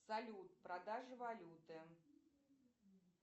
салют продажи валюты